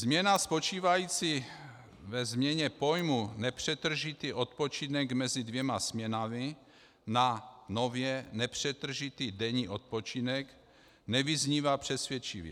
Změna spočívající ve změně pojmu "nepřetržitý odpočinek mezi dvěma směnami" na nově "nepřetržitý denní odpočinek" nevyznívá přesvědčivě.